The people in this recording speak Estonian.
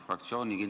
Jürgen Ligi, palun!